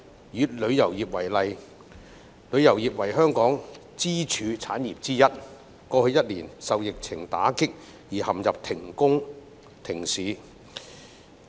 以旅遊業為例，旅遊業為香港支柱產業之一，過去一年受疫情打擊而陷入停工停市。